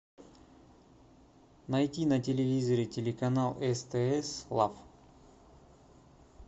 найти на телевизоре телеканал стс лав